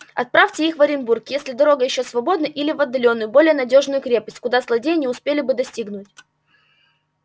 отправьте их в оренбург если дорога ещё свободна или в отдалённую более надёжную крепость куда злодеи не успели бы достигнуть